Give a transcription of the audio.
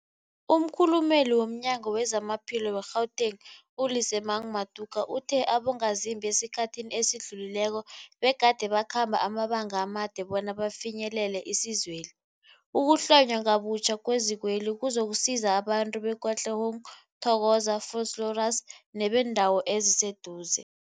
Umkhulumeli womNyango weZamaphilo we-Gauteng, u-Lesemang Matuka uthe abongazimbi esikhathini esidlulileko begade bakhamba amabanga amade bona bafinyelele isizweli. Ukuhlonywa ngobutjha kwezikweli kuzokusiza abantu be-Katlehong, Thokoza, Vosloorus nebeendawo eziseduze.